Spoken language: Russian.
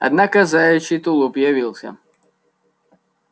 однако заячий тулуп явился